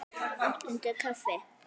Áttundi kafli